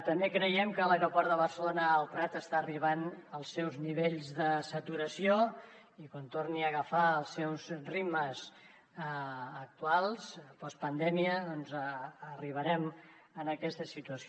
també creiem que l’aeroport de barcelona el prat està arribant als seus nivells de saturació i quan torni a agafar els seus ritmes actuals postpandèmia doncs arribarem a aquesta situació